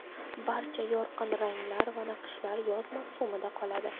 Barcha yorqin ranglar va naqshlar yoz mavsumida qoladi.